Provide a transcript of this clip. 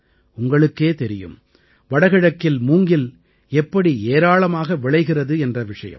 உங்களுக்கே தெரியும் வடகிழக்கில் மூங்கில் எப்படி ஏராளமாக விளைகிறது என்ற விஷயம்